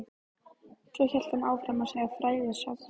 Svo hélt hann áfram að segja frægðarsögur.